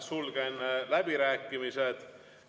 Sulgen läbirääkimised.